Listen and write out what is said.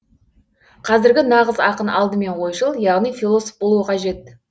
қазіргі нағыз ақын алдымен ойшыл яғни философ болуы қажет